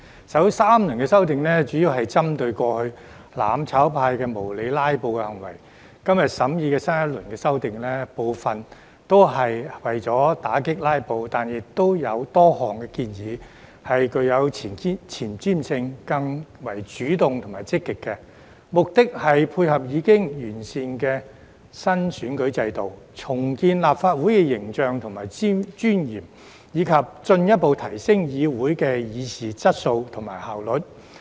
首3輪修訂主要針對過去"攬炒派"無理"拉布"的行為，今天審議的新一輪修訂，部分亦是為了打擊"拉布"，但亦有多項建議具有前瞻性，更為主動積極，目的是配合已經完善的新選舉制度、重建立法會形象和尊嚴，以及進一步提升議會的議事質素和效率。